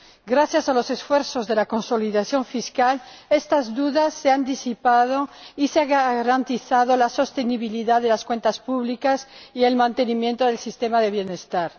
Gracias a los esfuerzos de consolidación fiscal, estas dudas se han disipado y se han garantizado la sostenibilidad de las cuentas públicas y el mantenimiento del sistema de bienestar.